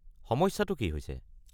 সমস্যাটো কি হৈছে?